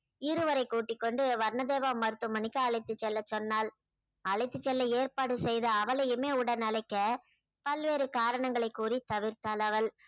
இருவரை கூட்டிக்கொண்டு வர்ணதேவா மருத்துவமனைக்கு அழைத்து செல்ல சொன்னாள் அழைத்து செல்ல ஏற்பாடு செய்த அவளையுமே உடன் அழைக்க பல்வேறு காரணங்களை கூறி தவிர்த்தாள் அவள்